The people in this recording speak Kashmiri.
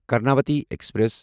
کرناوتی ایکسپریس